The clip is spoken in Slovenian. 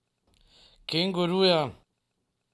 Kenguruja?